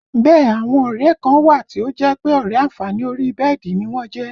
Bẹ́ẹ̀ àwọn ọ̀rẹ́ ẹ kan wà tí ó jẹ́ pé ọ̀rẹ́ àǹfààní orí bẹ́ẹ̀dì ni wọ́n jẹ́